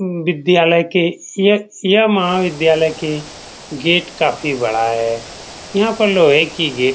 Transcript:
विद्यालय के सी.एछ.सी.एम.आर. विद्यालय के गेट काफी बड़ा है यहाँ पर लोहे की गेट --